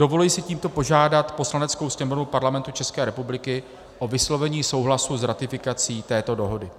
Dovoluji si tímto požádat Poslaneckou sněmovnu Parlamentu České republiky o vyslovení souhlasu s ratifikací této dohody.